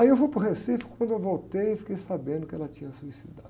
Aí eu vou para o Recife, quando eu voltei, fiquei sabendo que ela tinha se suicidado.